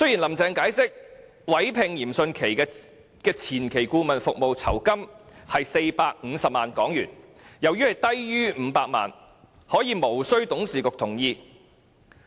"林鄭"解釋，委聘嚴迅奇的前期顧問服務酬金為450萬元，而由於此酬金低於萬元，所以無需董事局的同意。